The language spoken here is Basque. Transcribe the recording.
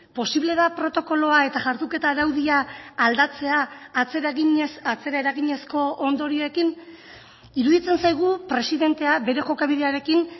posible da protokoloa eta jarduketa araudia aldatzea atzera eginez atzera eraginezko ondorioekin iruditzen zaigu presidentea bere jokabidearekin